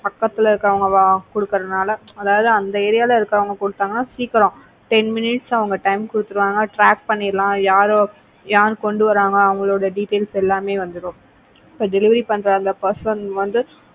பக்கத்துல இருக்குறவங்க கொடுக்கிறதுனால அதாவது அந்த ஏரியாவுல இருக்கிறவங்க கொடுத்தாங்கன்னா சீக்கிரம் ten minutes அவங்க time கொடுத்துடுவாங்க நம்ம track பண்ணலாம் யார் யார் கொண்டு வராங்களோ அவங்களோட details எல்லாமே வந்துடும். இப்போ delivery பண்ற அந்த person வந்து